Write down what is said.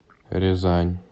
рязань